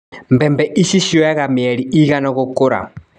Mbembe ici cioyaga mĩeri ĩigana gũkũra.